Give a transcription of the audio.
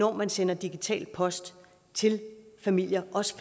når man sender digital post til familier også